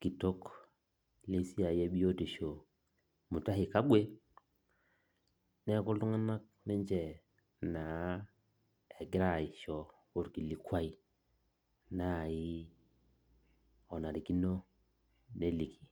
kitok lesiai ebiotisho Mutahi Kagwe, neeku iltung'anak ninche naa egira aisho olkilikwai nai onarikino neliki.